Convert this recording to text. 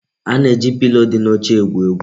A na-eji pilo di n'oche egwu egwu.